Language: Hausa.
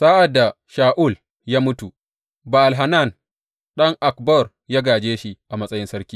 Sa’ad da Sha’ul ya mutu, Ba’al Hanan ɗan Akbor ya gāje shi a matsayin sarki.